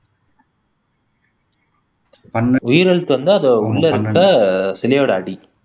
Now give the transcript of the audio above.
உயிரெழுத்து வந்து அது உள்ள இருக்க சிலையோட அடி